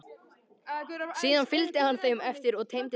Síðan fylgdi hann þeim eftir og teymdi dýrið.